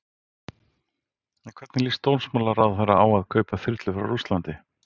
En hvernig líst dómsmálaráðherra á að kaupa þyrlur frá Rússlandi?